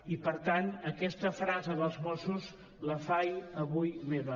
i per tant aquesta frase dels mossos la faig avui meva